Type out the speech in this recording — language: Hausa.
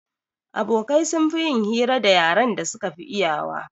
Abokai sun fi yin hira da yaren da suka fi iyawa